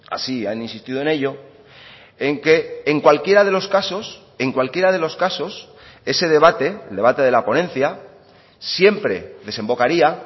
así han insistido en ello en que en cualquiera de los casos en cualquiera de los casos ese debate el debate de la ponencia siempre desembocaría